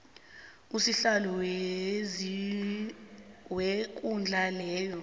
usihlalo wekundla leyo